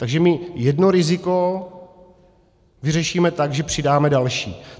Takže my jedno riziko vyřešíme tak, že přidáme další.